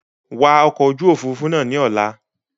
Wa ọkọ̀ ojú Òfurufú náà ni Ọ̀la!